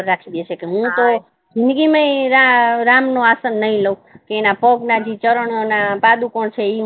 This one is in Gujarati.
હુ તો જીદંગી મા રામ ના આશન નહી લઉ તેના પગ ના જે ચરણો ના પાદુકોન છે